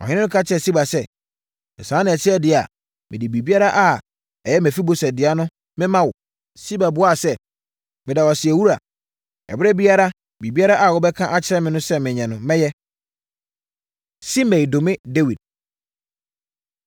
Ɔhene no ka kyerɛɛ Siba sɛ, “Sɛ saa na ɛte deɛ a, mede biribiara a ɛyɛ Mefiboset dea no mema wo.” Siba buaa sɛ, “Meda wo ase awura. Ɛberɛ biara, biribiara a wobɛka akyerɛ me sɛ menyɛ no, mɛyɛ.” Simei Dome Dawid